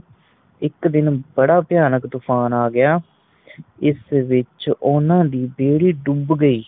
ਇੱਕ ਦਿਨ ਬੜਾ ਭਿਆਨਕ ਤੂਫ਼ਾਨ ਆ ਗਿਆ ਇਸ ਵਿੱਚ ਉਹਨਾਂ ਦੀ ਬੇੜੀ ਡੁੱਬ ਗਈ